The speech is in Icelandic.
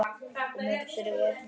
Og mörg eru vötnin.